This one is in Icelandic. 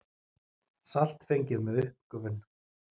Salt fengið með uppgufun.